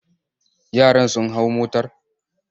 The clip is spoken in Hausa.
Yaran sun hau motor?